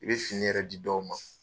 I bɛ fini yɛrɛ di dɔw ma.